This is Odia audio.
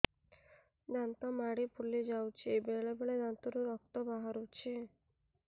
ଦାନ୍ତ ମାଢ଼ି ଫୁଲି ଯାଉଛି ବେଳେବେଳେ ଦାନ୍ତରୁ ରକ୍ତ ବାହାରୁଛି